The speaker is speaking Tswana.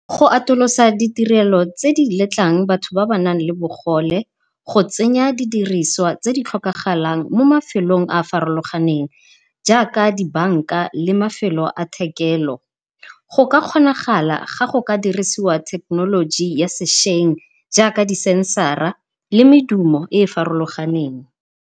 Go atolosa ditirelo tse di letlang batho ba ba nang le bogole, go tsenya di diriswa tse di tlhokagalang mo mafelong a farologaneng jaaka di banka le mafelo a thekelo, go ka kgonagala ga go ka dirisiwa thekenoloji ya sešweng jaaka di sensara le medumo e e farologaneng.